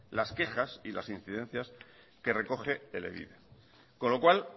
las quejas y las incidencias que recoge elebide con lo cual